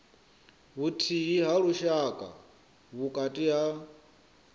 vhuthihi ha lushaka vhukati ha